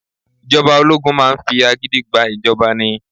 Ìjọba ológun máa ń fi agídí gba ìjọba ni.